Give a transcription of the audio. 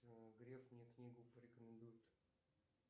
греф мне книгу порекомендует